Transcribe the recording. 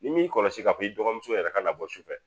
Ni m'i kɔlɔsi k'a fɔ i dɔgɔmuso yɛrɛ ka labɔ sufɛ